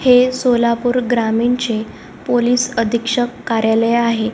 हे सोलापूर ग्रामीण चे पोलिस अधीक्षक कार्यालय आहे.